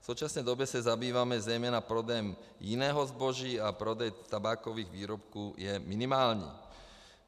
V současné době se zabýváme zejména prodejem jiného zboží a prodej tabákových výrobků je minimální."